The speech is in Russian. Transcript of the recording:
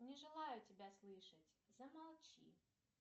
не желаю тебя слышать замолчи